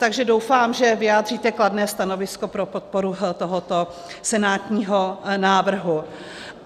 Takže doufám, že vyjádříte kladné stanovisko pro podporu tohoto senátního návrhu.